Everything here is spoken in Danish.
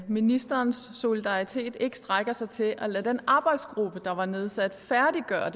ministerens solidaritet ikke strækker sig til at lade den arbejdsgruppe der var nedsat færdiggøre